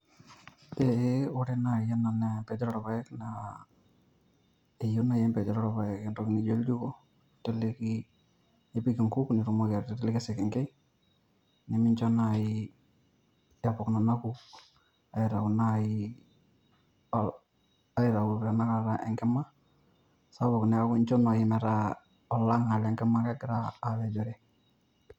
Eee ore naaji ena naa enkati orpaek naa, eyiou naji enkatii orpaek entoki naijo oljiko, ninteleki , nipiki inkuuk pitumoki aiteleki esekenkei nemincho naji epok nena nkuuk aitayu naaji, aituyu tenakata enkima sapuk neeku incho naaji meeta olang'a lenkima egira apejore